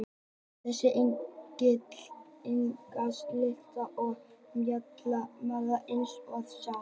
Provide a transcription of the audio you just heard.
Þessi engill er einstakt listaverk úr mjallhvítum marmara eins og þið sjáið.